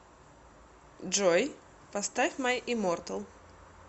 джой поставь май иммортал